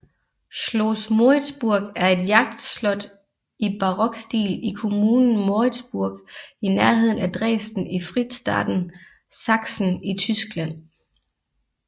Schloss Moritzburg er et jagtslot i barokstil i kommunen Moritzburg i nærheden af Dresden i fristaten Sachsen i Tyskland